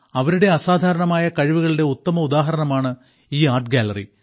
അവരുടെ അസാധാരണമായ കഴിവുകളുടെ ഉത്തമ ഉദാഹരണമാണ് ഈ ആർട്ട് ഗ്യാലറി